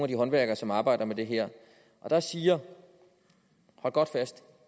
de håndværkere som arbejder med det her og der siger hold godt fast